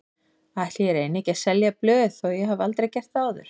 Ætli ég reyni ekki að selja blöð þó ég hafi aldrei gert það áður.